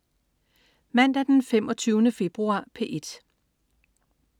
Mandag den 25. februar - P1: